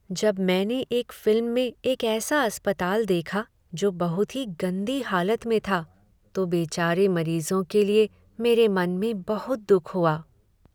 जब मैंने एक फिल्म में एक ऐसा अस्पताल देखा जो बहुत ही गंदी हालत में था तो बेचारे मरीजों के लिए मेरे मन में बहुत दुख हुआ।